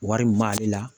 Wari min b'ale la